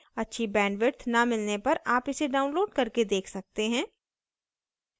अच्छी bandwidth न मिलने पर आप इसे download करके देख सकते हैं